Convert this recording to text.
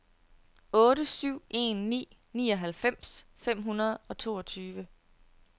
otte syv en ni nioghalvfems fem hundrede og toogtyve